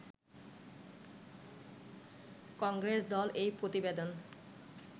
কংগ্রেস দল এই প্রতিবেদন